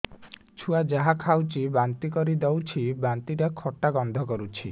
ଛୁଆ ଯାହା ଖାଉଛି ବାନ୍ତି କରିଦଉଛି ବାନ୍ତି ଟା ଖଟା ଗନ୍ଧ କରୁଛି